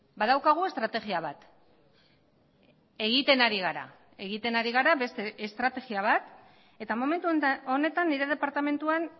badaukagu estrategia bat egiten ari gara egiten ari gara beste estrategia bat eta momentu honetan nire departamentuan